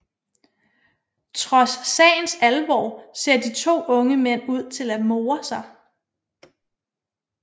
Trods sagens alvor ser de to unge mænd ud til at more sig